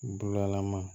Bulalaman